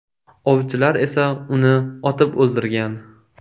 Ovchilar esa uni otib o‘ldirgan.